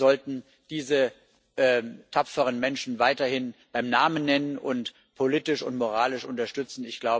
Wir sollten diese tapferen Menschen weiterhin beim Namen nennen und politisch und moralisch unterstützen.